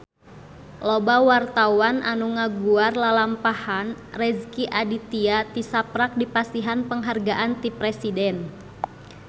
Loba wartawan anu ngaguar lalampahan Rezky Aditya tisaprak dipasihan panghargaan ti Presiden